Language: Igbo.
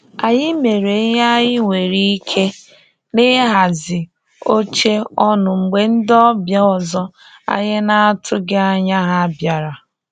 Anyị mere ihe anyị nwere ike na ihazi oche ọnụ mgbe ndi ọbịa ọzọ anyị na atụghị anya ha bịara